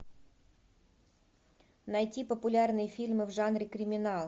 найти популярные фильмы в жанре криминал